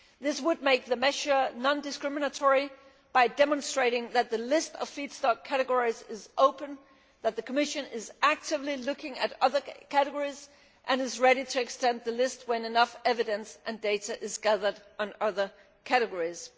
This would make the measure non discriminatory by demonstrating that the list of feedstock categories is open and that the Commission is actively looking at other categories and is ready to extend the list when enough evidence and data is gathered on other categories.